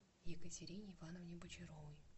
екатерине ивановне бочаровой